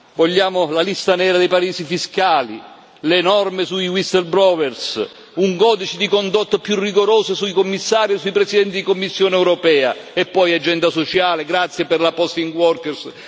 Vogliamo la lista nera dei paradisi fiscali, le norme sui whistleblower un codice di condotta più rigoroso sui Commissari o sui Presidenti della Commissione europea, e poi l'agenda sociale grazie per la Posting of Workers